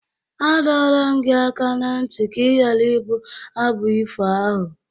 A dọọla m gị aka ná ntị ka ị ghara ịbụ abụ ifo ahụ!